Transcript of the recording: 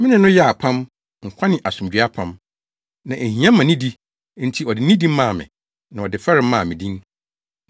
Me ne no yɛɛ apam, nkwa ne asomdwoe apam. Na ehia ma nidi, enti ɔde nidi maa me na ɔde fɛre maa me din.